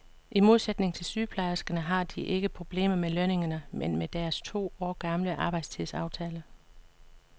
I modsætning til sygeplejerskerne har de ikke problemer med lønningerne, men med deres to år gamle arbejdstidsaftale.